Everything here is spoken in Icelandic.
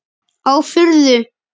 Á furðu